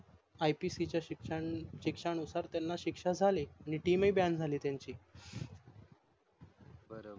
IPC च्या SECTION नुसार त्यांना शिक्षा झाली आणि TEAMBAN झाली त्यांची